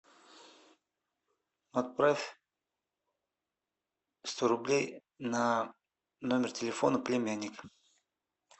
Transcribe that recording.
отправь сто рублей на номер телефона племянника